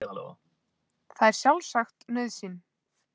Það er sjálfsagt nauðsyn